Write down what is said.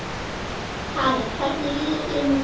Karen: Hvernig líður þér núna?